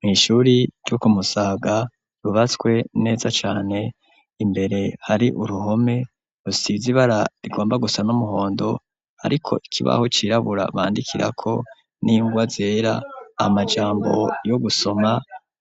Mw'ishure ryo kumusaga ryubatswe neza cane imbere hari uruhome rusize ibara rigomba gusa n'umuhondo ariko ikibaho cirabura bandikirako n'ingwa zera amajambo yo gusoma